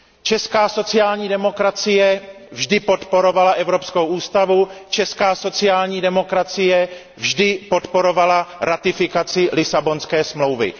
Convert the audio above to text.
Česká sociální demokracie vždy podporovala Evropskou ústavu, česká sociální demokracie vždy podporovala ratifikaci Lisabonské smlouvy.